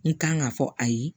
N kan ka fɔ a ye